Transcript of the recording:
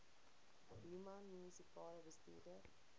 human munisipale bestuurder